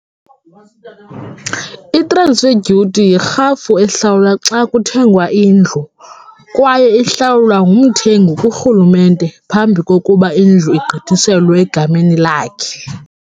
I-transfer duty yirhafu ehlawulwa xa kuthengwa indlu kwaye ihlawulwa ngumthengi kurhulumente phambi kokuba indlu igqithiselwa egameni lakhe.